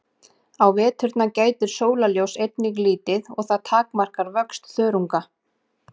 Á veturna gætir sólarljóss einnig lítið og það takmarkar vöxt þörunga.